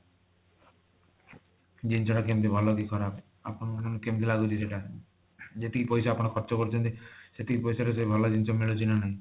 ଜିନିଷ ଟା କେମିତି ଭଲ ଦିଶିବ ନା ନାଇଁ ଆପଣଙ୍କୁ କେମିତି ଲାଗୁଛି ସେଟା ଯେତିକି ପଇସା ଆପଣ ଖର୍ଚ କରିଛନ୍ତି ସେତିକି ପଇସା ରେ ଭଲ ଜିନିଷ ମିଳୁଛି ନା ନାଇଁ